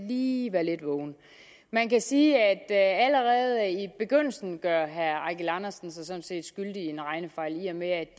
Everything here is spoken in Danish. lige være lidt vågen man kan sige at allerede i begyndelsen gør herre eigil andersen sig sådan set skyldig i en regnefejl i og med at